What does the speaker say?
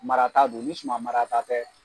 Marata don ni suman marata tɛ